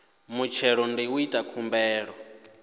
muthelo ndi u ita khumbelo